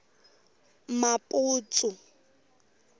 maputsu